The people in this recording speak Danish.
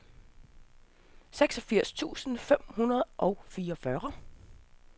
seksogfirs tusind fem hundrede og fireogfyrre